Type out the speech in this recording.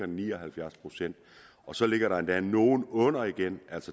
ni og halvfjerds procent så ligger der endda nogle under igen